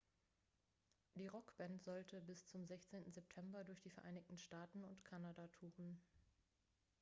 die rockband sollte bis zum 16. september durch die vereinigten staaten und kanada touren